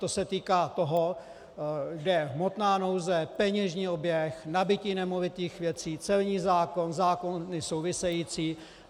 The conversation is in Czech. To se týká toho, kde je hmotná nouze, peněžní oběh, nabytí nemovitých věcí, celní zákon, zákony související.